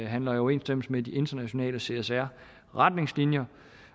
handler i overensstemmelse med de internationale csr retningslinjer